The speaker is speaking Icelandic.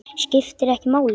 Skiptir ekki máli.